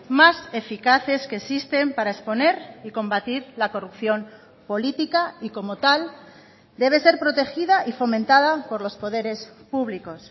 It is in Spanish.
más eficaces que existen para exponer y combatir la corrupción política y como tal debe ser protegida y fomentada por los poderes públicos